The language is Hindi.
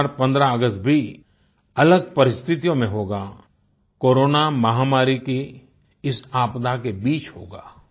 इस बार 15 अगस्त भी अलग परिस्थितियों में होगा कोरोना महामारी की इस आपदा के बीच होगा